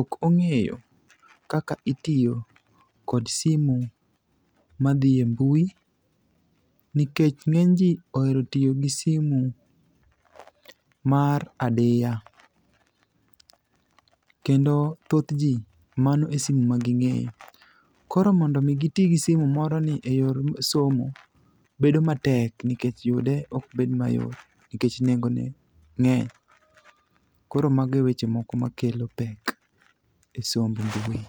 ok ong'eyo kaka itiyo kod simuni madhi e mbui, nikech ng'eny ji ohero tiyo kod simu mar adiya, kendo thoth ji, mano e simu ma ging'eyo. Koro mondo omi giti gi simu moroni e yor somo, bedo matek nikech yude ok bed mayot nikech nengone ng'eny. Koro mago e weche moko makelo pek e somb mbui.